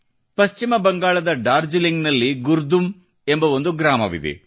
ಪಶ್ಚಿಮ ಬಂಗಾಳದ ಡಾರ್ಜಿಲಿಂಗ್ನಲ್ಲಿ ಗುರ್ದುಂ ಎಂಬ ಒಂದು ಗ್ರಾಮವಿದೆ